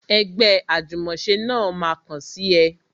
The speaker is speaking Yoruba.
Ẹgbẹ́ ajumose náà ma kàn sí ẹ